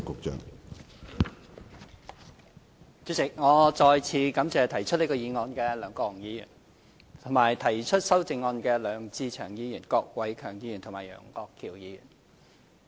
主席，我再次感謝提出這項議案的梁國雄議員，以及提出修正案的梁志祥議員、郭偉强議員和楊岳橋議員。